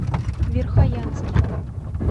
верхоянске